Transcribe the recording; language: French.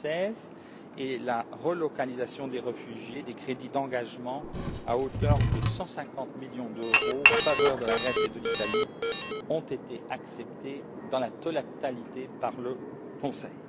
2016. Pour ce qui est de la relocalisation des réfugiés, des crédits d'engagement à hauteur de 150 millions d'euros en faveur de la Grèce et de l'Italie ont été acceptés dans leur totalité par le Conseil.